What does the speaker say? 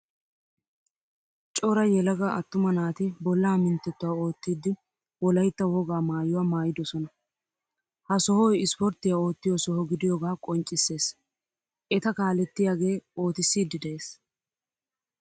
Cora yelaga attuma naati bolla minttettuwaa oottidi wolaytta wogaa maayuwaa maayidosna. Ha sohoy ispporttiyaa oottiyo soho gidiyoga qonccissees. Eta kalettiyage oottisidi de'ees.